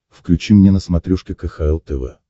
включи мне на смотрешке кхл тв